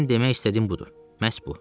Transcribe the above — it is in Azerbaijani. Mənim demək istədiyim budur, məhz bu.